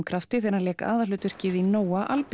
krafti þegar hann lék aðalhlutverkið í Nóa